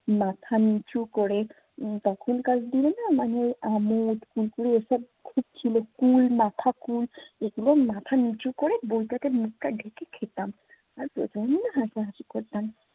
মাথা নিচু করে তখনকার দিনে না মানে আমোদ এসব খুব ছিল কুল মাথা কুল এগুলো মাথা নিচু করে বইটাকে মুখটা ঢেকে খেতাম। আর প্রচণ্ড হাসাহাসি করতাম।